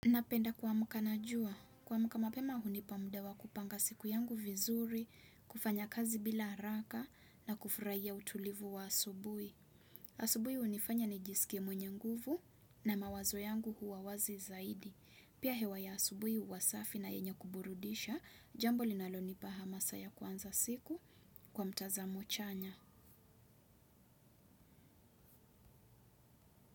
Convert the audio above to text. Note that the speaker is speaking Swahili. Napenda kuamka najua. Kuamka mapema hunipa mda wa kupanga siku yangu vizuri, kufanya kazi bila haraka na kufurahia utulivu wa asubuhi. Asubuhi hunifanya ni jisike mwenye nguvu na mawazo yangu huwa wazi zaidi. Pia hewa ya asubuhi huwa safi na yenye kuburudisha, jambo linalonipa ha masa ya kuanza siku kwa mtazamo chanya.